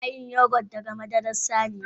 Ana yin Yogurt daga madarar saniya.